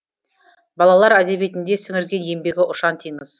балалар әдебиетіне сіңірген еңбегі ұшан теңіз